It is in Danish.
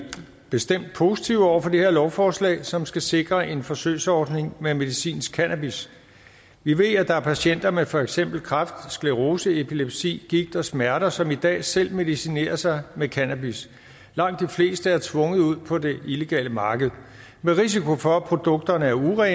bestemt positive over for det her lovforslag som skal sikre en forsøgsordning med medicinsk cannabis vi ved at der er patienter med for eksempel kræft sclerose epilepsi gigt og smerter som i dag selv medicinerer sig med cannabis langt de fleste er tvunget ud på det illegale marked med risiko for at produkterne er urene eller